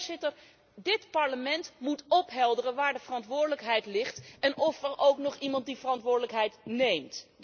Voorzitter, dit Parlement moet ophelderen waar de verantwoordelijkheid ligt en of er ook nog iemand die verantwoordelijkheid neemt.